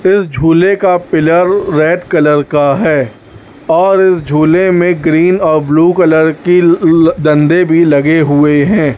फिर झूले का पिलर रेड कलर का है और इस झूले में ग्रीन और ब्लू कलर की डंडे भी लगे हुए हैं।